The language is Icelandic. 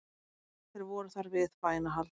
Þeir voru þar við bænahald